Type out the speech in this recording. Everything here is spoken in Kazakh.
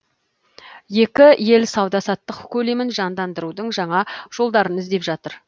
екі ел сауда саттық көлемін жандандырудың жаңа жолдарын іздеп жатыр